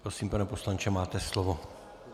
Prosím, pane poslanče, máte slovo.